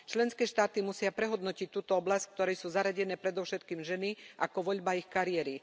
Členské štáty musia prehodnotiť túto oblasť, v ktorej sú zaradené predovšetkým ženy, ako voľbu ich kariéry.